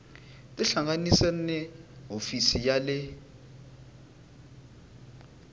tihlanganise na hofisi ya le